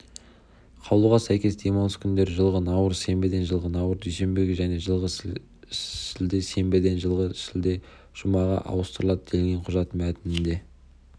қаулыға сәйкес демалыс күндері жылғы наурыз сенбіден жылғы наурыз дүйсенбіге және жылғы шілде сенбіден жылғы шілде жұмаға ауыстырылды делінген құжат мәтінінде